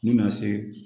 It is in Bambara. N'u bɛna se